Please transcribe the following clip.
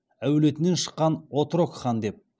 әулетінен шыққан отрок хан деп